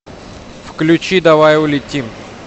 включи давай улетим